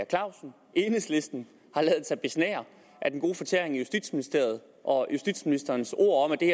clausen enhedslisten har ladet sig besnære af den gode fortæring i justitsministeriet og justitsministerens ord om at det